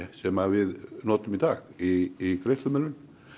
sem við notum í dag í greiðslumiðlun